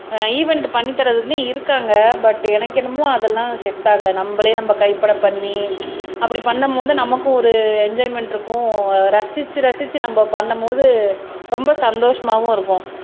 event பண்ணி தர்றதுமே இருக்காங்க பட் எனக்கு என்னமோ அதெல்லாம் செட் ஆகல நம்மளே நம்ம கைப்பட பண்ணி அப்படி பண்ணும் போது நமக்கும் ஒரு என்ஜாய்மெண்ட் இருக்கும் ரசிச்சு ரசிச்சு நம்ம பண்ணும் போது ரொம்ப சந்தோஷமாவும் இருக்கும்